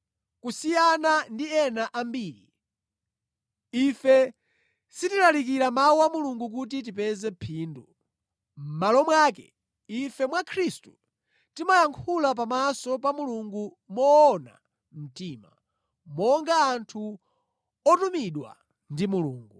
Kusiyana ndi ena ambiri, ife sitilalikira Mawu a Mulungu kuti tipeza phindu. Mʼmalo mwake, ife mwa Khristu timayankhula pamaso pa Mulungu moona mtima, monga anthu otumidwa ndi Mulungu.